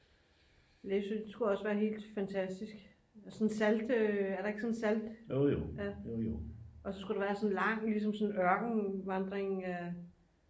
læsø det skulle også være helt fantastisk er der ikke sådan et salt og så skulle der være sådan en lang ligesom ørkenvandring